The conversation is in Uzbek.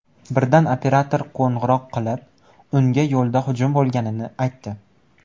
Birdan operator qo‘ng‘iroq qilib, unga yo‘lda hujum bo‘lganini aytdi.